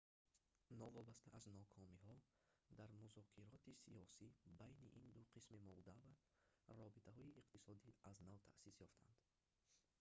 новобаста аз нокомиҳо дар музокироти сиёсӣ байни ин ду қисми молдова робитаҳои иқтисодӣ аз нав таъсис ёфтаанд